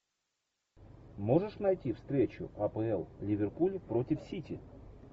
можешь найти встречу апл ливерпуль против сити